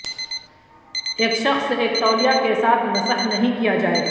ایک شخص ایک تولیہ کے ساتھ مسح نہیں کیا جائے گا